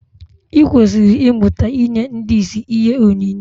I kwesịrị ịmụta inye ndị ìsì ihe onyinye